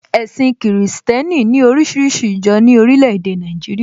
Ẹ̀sìn kìrìsìtẹ́nì ní oríṣiríṣi ìjọ ní orílẹ̀ èdè Nàìjíríà